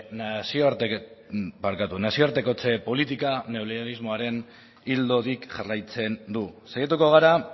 nazioartekotze politika neoliberalismoaren ildotik jarraitzen du saiatu gara